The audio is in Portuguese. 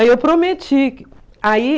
Aí eu prometi. Aí...